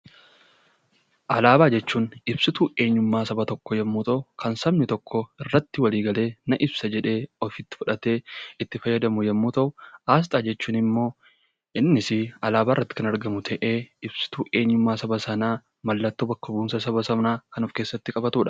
Alaabaa jechuun ibsituu eenyummaa saba tokkoo yeroo ta'u, kan sabni tokko irratti waliif galee na ibsa jedhee, ofitti fudhatee itti fayyadamu yommuu ta'u, aasxaa jechuunimmoo innis alaabaarratti kan argamu ta'ee ibsituu eenyummaa saba sanaa mallattoo bakka bu'umsa saba sanaa kan of keessatti qabatudha.